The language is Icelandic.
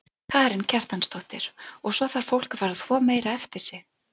Karen Kjartansdóttir: Og svo þarf fólk að fara að þvo meira eftir sig?